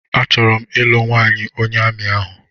A chọrọ m ịlụ nwanyị onye amị ahụ